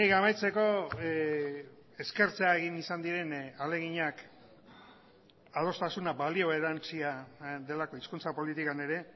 amaitzeko eskertzea egin izan diren ahaleginak adostasuna balio erantsia delako hizkuntza politikan ere